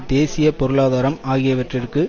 தேசிய பொருளாதாரம் ஆகியவற்றிற்கு